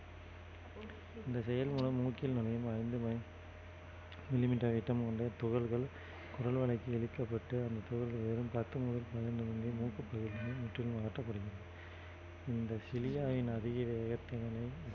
இந்த செயல் மூலம் மூக்கில் நுழையும் ஐந்து மைல் millimeter விட்டம் கொண்ட துகள்கள் குரல்வளைக்கு எடுக்கப்பட்டு அந்த துகள்கள் வெறும் பத்து முதல் பதினைந்து மூக்கு பகுதிகளில் முற்றிலும் அகற்றப்படும் இந்த